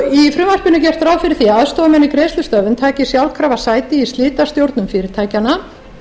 frumvarpinu er gert ráð fyrir því að aðstoðarmenn í greiðslustöðvun taki sjálfkrafa sæti í slitastjórnum fyrirtækjanna